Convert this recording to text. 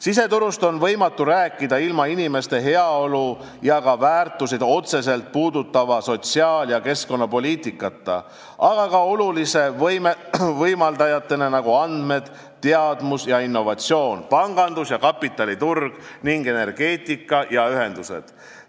Siseturust on võimatu rääkida ilma inimeste heaolu ja ka väärtuseid otseselt puudutava sotsiaal- ja keskkonnapoliitikata, aga ka oluliste võimaldajateta, nagu andmed, teadmus ja innovatsioon, pangandus ja kapitaliturg ning energeetika ja ühendused.